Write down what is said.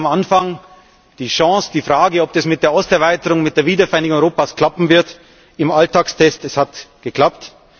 Der Start am Anfang, die Chance, die Frage, ob das mit der Osterweiterung, mit der Wiedervereinigung Europas klappen wird im Alltagstest es hat geklappt.